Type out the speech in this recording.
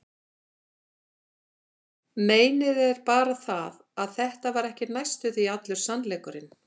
Meinið er bara það, að þetta var ekki næstum því allur sannleikurinn.